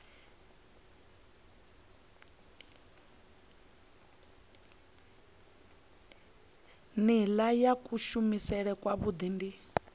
nila ya kuvhusele kwavhui ndi